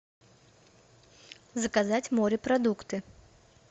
заказать морепродукты